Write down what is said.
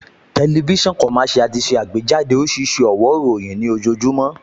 TVC ti ṣe àgbéjáde oríṣiríṣi ọ̀wó ìròyìn nih ojoojúmọ́